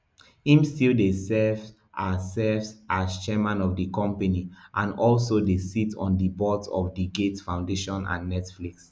im still dey serves as serves as chairman of di company and also dey sit on di boards of di gates foundation and netflix